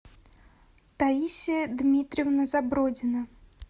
таисия дмитриевна забродина